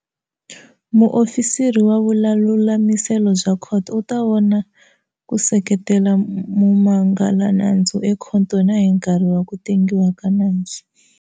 Muofisiri wa vululamiselo bya khoto u ta va kona ku seketela mumangalanandzu ekhoto na hi nkarhi wa ku tengiwa ka nandzu.